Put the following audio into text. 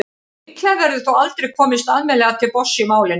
líklega verður þó aldrei komist almennilega til botns í málinu